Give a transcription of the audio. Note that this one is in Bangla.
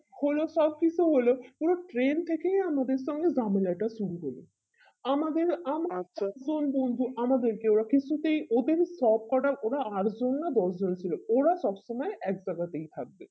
হলো সব কিছু হলো কিন্তু train থেকে আমাদের সঙ্গে ঝামেলাটা শুরু হলো আমাদের আমরা জন বন্ধু আমাদেরকে ওরা কিছুতেই ওদেরই সব কোটা ওরা আর জন্য দশ জন ছিল ওরা সব সময় একজায়গা তাই থাকবে